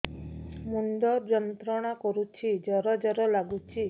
ମୁଣ୍ଡ ଯନ୍ତ୍ରଣା କରୁଛି ଜର ଜର ଲାଗୁଛି